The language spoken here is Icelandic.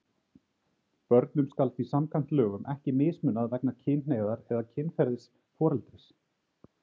Börnum skal því samkvæmt lögum ekki mismunað vegna kynhneigðar eða kynferðis foreldris.